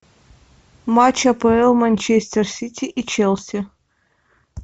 матч апл манчестер сити и челси